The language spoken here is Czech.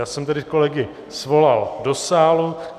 Já jsem tedy kolegy svolal do sálu.